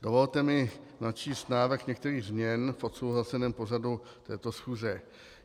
Dovolte mi načíst návrh některých změn v odsouhlaseném pořadu této schůze.